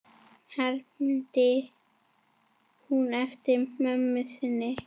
hermdi hún eftir mömmu sinni.